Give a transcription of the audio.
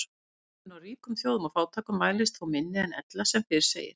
Munurinn á ríkum þjóðum og fátækum mælist þó minni en ella sem fyrr segir.